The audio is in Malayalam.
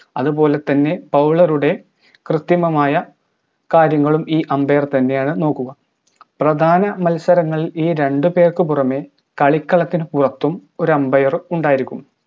അതുപോലെതന്നെ bowler ടെ കൃത്രിമമായ കാര്യങ്ങളും ഈ umbair തന്നെയാണ് നോക്കുക പ്രധാന മത്സരങ്ങളിൽ ഈ രണ്ട് പേർക്ക് പുറമെ കളിക്കളത്തിന് പുറത്തും ഒര് umbair ഉണ്ടായിരിക്കും